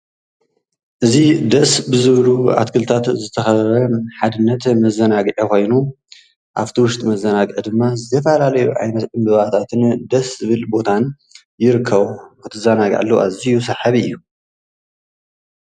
እዚ ደስ ብዝብሉ ኣትክልትታት ዝተከበበ ሓድነት መዘናግዒ ኮይኑ ኣብቲ ዉሽጢ መዘናግዒ ድማ ዝተፈላለዩ ዓይነታት ዕምበባታት ደስ ዝብል ቦታን ይርከቦ ክትዘናግዐሉ ኣዝዩ ስሓቢ እዩ።